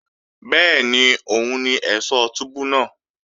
Bẹ́ẹ̀ni òun ni ẹ̀ṣọ̀ túbú náà